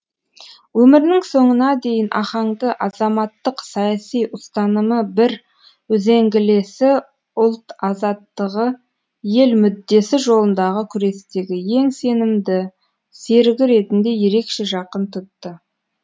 өмірінің соңына дейін ахаңды азаматтық саяси ұстанымы бір үзеңгілесі ұлт азаттығы ел мүддесі жолындағы күрестегі ең сенімді серігі ретінде ерекше жақын тұтты